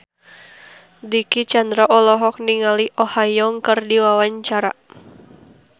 Dicky Chandra olohok ningali Oh Ha Young keur diwawancara